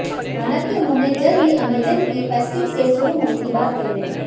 हालांकि उन्होंने जल्द ही अमेजन की फेस्टिव सेल शुरू होने की बात कही है